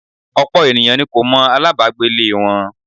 Ọ̀pọ̀ ènìyàn ni kò mọ alabagbe lè wọn.